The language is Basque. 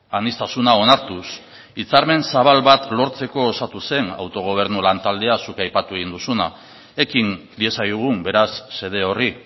aniztasuna onartuz hitzarmen zabal bat osatu zen autogobernu lantaldea zuk aipatu egin duzuna ekin diezaiogun beraz xede horri